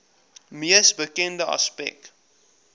mees bekende aspek